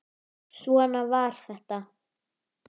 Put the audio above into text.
Svona var þetta.